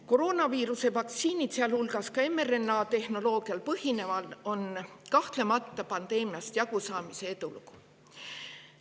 Koroonaviiruse vaktsiinid, sealhulgas mRNA-tehnoloogial põhinevad, on kahtlemata pandeemiast jagusaamise edulugu.